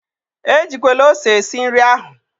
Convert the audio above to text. E jikwele ose esi nri ahụ!